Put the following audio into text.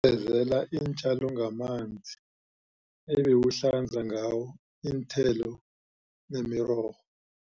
Sezela iintjalo ngamanzi ebewuhlanza ngawo iinthelo nemirorho